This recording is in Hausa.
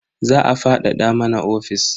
Za a fadada mana ofis.